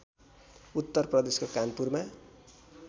उत्तर प्रदेशको कानपुरमा